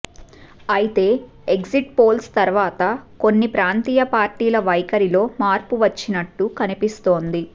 అయితే exit polls తర్వాత కొన్ని ప్రాంతీయ పార్టీల వైఖరిలో మార్పు వచ్చినట్టు కన్పిస్తోంది